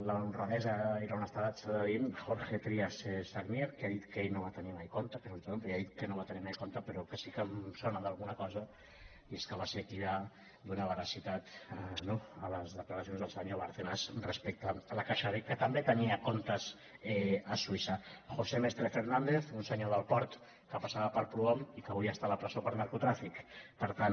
l’honradesa i l’honestedat s’ha de dir jorge trías sagnier que ha dit que ell no va tenir mai compte que sortia el nom però ell ha dit que no va tenir mai compte però que sí que em sona d’alguna cosa i és que va ser qui va donar veracitat no a les declaracions del senyor bárcenas respecte a la caixa b que també tenia comptes a suïssa josé mestre fernández un senyor del port que passava per prohom i que avui està a la presó per narcotràfic per tant